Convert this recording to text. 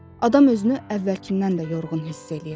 Adam özünü əvvəlkindən də yorğun hiss eləyir.